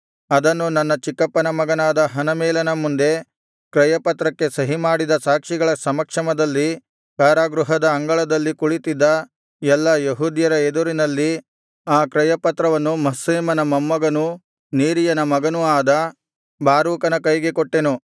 ಅದನ್ನು ನನ್ನ ಚಿಕ್ಕಪ್ಪನ ಮಗನಾದ ಹನಮೇಲನ ಮುಂದೆ ಕ್ರಯಪತ್ರಕ್ಕೆ ಸಹಿಮಾಡಿದ ಸಾಕ್ಷಿಗಳ ಸಮಕ್ಷಮದಲ್ಲಿ ಕಾರಾಗೃಹದ ಅಂಗಳದಲ್ಲಿ ಕುಳಿತಿದ್ದ ಎಲ್ಲಾ ಯೆಹೂದ್ಯರ ಎದುರಿನಲ್ಲಿ ಆ ಕ್ರಯಪತ್ರವನ್ನು ಮಹ್ಸೇಮನ ಮೊಮ್ಮಗನೂ ನೇರೀಯನ ಮಗನೂ ಆದ ಬಾರೂಕನ ಕೈಗೆ ಕೊಟ್ಟೆನು